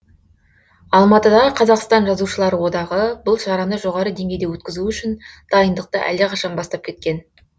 алматыдағы қазақстан жазушылары одағы бұл шараны жоғары деңгейде өткізу үшін дайындықты әлдеқашан бастап кеткен